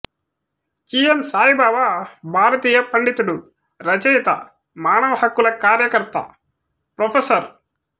G N Saibaba భారతీయ పండితుడు రచయిత మానవ హక్కుల కార్యకర్త ప్రొఫెసర్